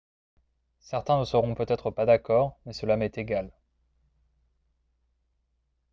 « certains ne seront peut-être pas d'accord mais cela m'est égal